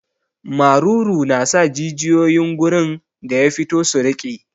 Maruru na sa jijiyoyin gurin da ya fito su riƙe.